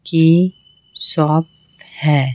की शॉप है।